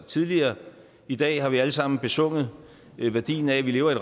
tidligere i dag har vi alle sammen besunget værdien af at vi lever i